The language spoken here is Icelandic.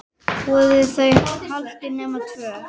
Voru þau haldin nema tvö?